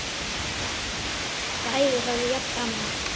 Bæði höfðu jafn gaman af!